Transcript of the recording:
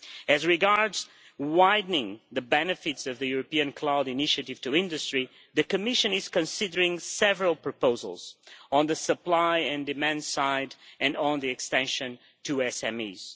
As regards widening the benefits of the European Cloud Initiative to industry, the Commission is considering several proposals on the supply and demand side and on the extension to SMEs.